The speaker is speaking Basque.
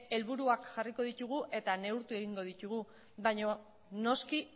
helburuak jarriko ditugu eta neurtu egingo ditugu baina noski